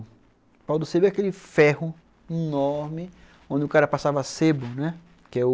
O pau do sebo é aquele ferro enorme onde o cara passava sebo, né. Que é o